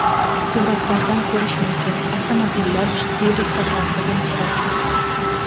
Suratlardan ko‘rish mumkin, avtomobillar jiddiy restavratsiyaga muhtoj.